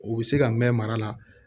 U bɛ se ka mɛn mara la